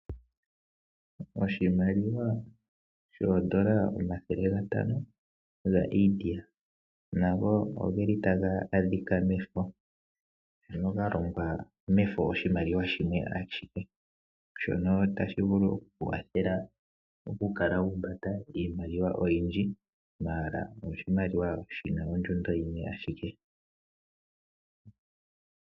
Oshimaliwa shoondola omathelegatano gaIndia, nago oge li taga adhika mefo, ano ga longwa mefo oshimaliwa shimwe ashike. Shono tashi vulu okuwathela oku kala wa humbata iimaliwa oyindji, ashike omoshimaliwa shina ondjundo yimwe ayike.